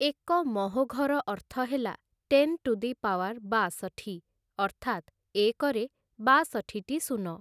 ଏକ ମହୋଘର ଅର୍ଥ ହେଲା ଟେନ୍‌ ଟୁ ଦି ପାୱାର୍ ବାଷଠି, ଅର୍ଥାତ୍‌ ଏକରେ ବାଷଠିଟି ଶୂନ ।